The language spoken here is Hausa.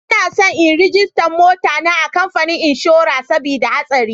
Ina son in ragista mota na a kamfani inshora sabida hasari.